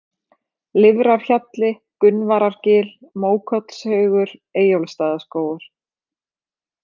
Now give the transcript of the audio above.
Lifrarhjalli, Gunnvarargil, Mókollshaugur, Eyjólfsstaðaskógur